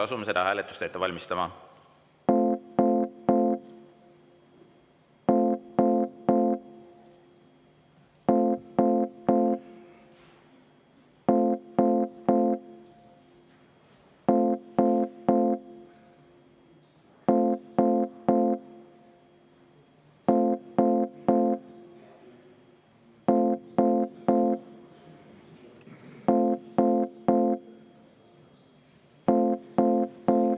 Asume seda hääletust ette valmistama.